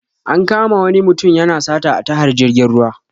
An kama wani mutum yana sata a tahar jirgin ruwa.